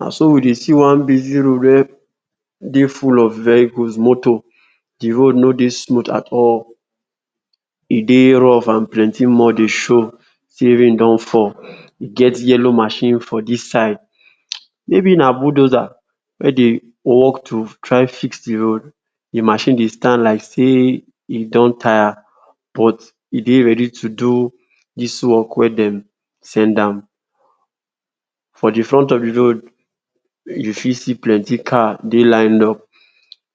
Naso we dey see one busy road wey dey full of vehicles moto, de road ni dey smooth at all, e dey rough and dey show sey rain don fall, e get yellow machine for de side, maybe na bulldozer wey dey work to try fix de road, de machine dey stand like sey e don tire but e dey ready to do dis work wey dem send am, for de front of de road you fit see plenty car dey lined up,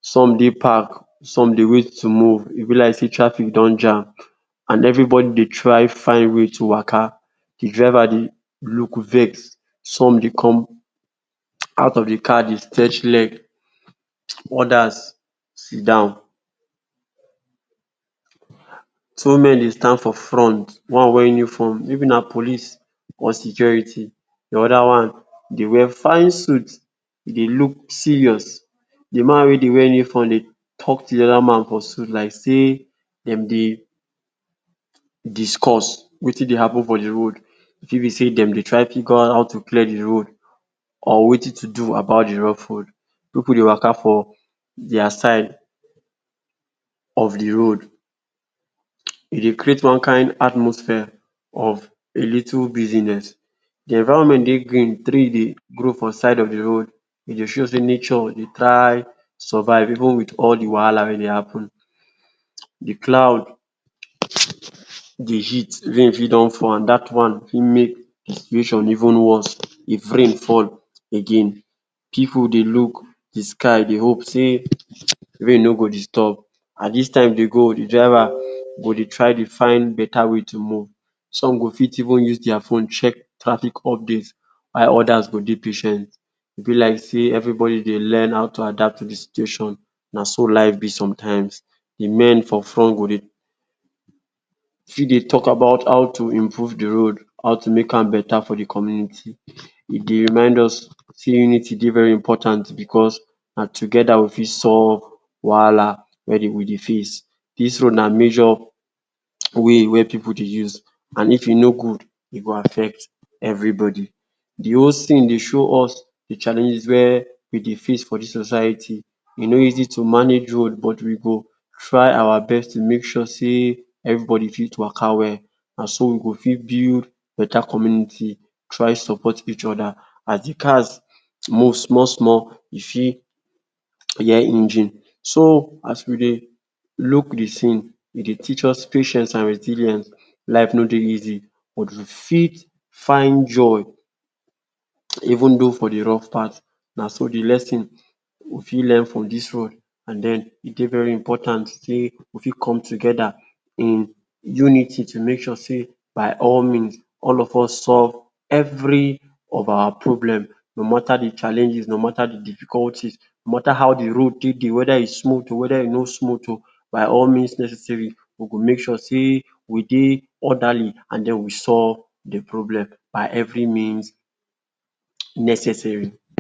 some dey park some dey wait to move e b like sey traffic don jam and everybody dey try find way to Waka de driver dey look um some dey come out of de car dey stretch leg, odas siddon. Two men dey stand for front one wear uniform, maybe na police or security de oda one dey wear fine suit e dey look serious, de man wey dey wear uniform dey talk to de oda wey dey wear suit like sey dem dey discuss Wetin dey happen for de road, e fit b say dem dey try figure out how to clear de road or Wetin to do about de rough road, pipu dey Waka for dia side of de roaf, e dey create one kind atmosphere of a little business, de environment dey green, tree dey grow for de side of de road e dey show sey nature dey try dey survive even with all de wahala wey dey happen, de cloud de heat, rain fit don fall, dat one fit make de situation even worse if rain fall again, pipu dey look de sky dey hope sey rain no go disturb and dis time dey go de driver go dey try dey find Better way to move some go fit even use dis phone check traffic update while odas go dey patient, e b like sey everybody dey learn how to adapt to de situation na so life b sometimes de men for front fit dey talk about how to improve de road, how to make am better for de community, e dey remind us sey e dey very important because na together we fit solve de problem. Dis road na major way wey pipu dey use and If e no good e go affect everybody, de scene dey show us de challenges wey we dey face for dis society e no easy to manage road but we go try our best to make sure sey everybody fit Waka well, so we go for build beta community try support each oda, as d cars move small small we fit hear engine, so as we dey look de scene e dey teach us patience and resilience, life no dey easy but we fit find joy even tho for de rough part naso de lesson we got learn from dis road and den e dey very important sey we fit come together dey unity to make sure sey by all means all of us solve every of our problem no matter de challenges, no matter de difficulties ni matter how de road dey, wether e smooth oh, weda e no smooth oh by means necessary we go make sure wey we dey orderly and we solve de problem by every means necessary.